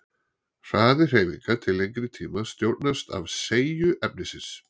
Hraði hreyfinga til lengri tíma stjórnast af seigju efnisins.